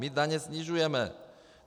My daně snižujeme.